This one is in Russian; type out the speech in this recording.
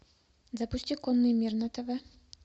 запусти конный мир на тв